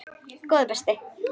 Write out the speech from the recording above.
Góði besti.!